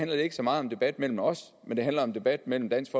det ikke så meget om debat mellem os men om debat mellem dansk